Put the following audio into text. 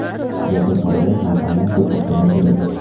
Yaqin orada kompaniya bir to‘xtamga keladi.